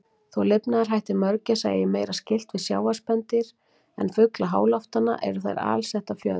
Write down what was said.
Þó lifnaðarhættir mörgæsa eigi meira skylt við sjávarspendýr en fugla háloftanna, eru þær alsettar fjöðrum.